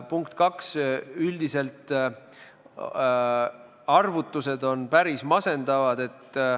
Punkt kaks, üldiselt on arvutused päris masendavad.